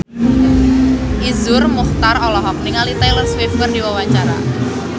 Iszur Muchtar olohok ningali Taylor Swift keur diwawancara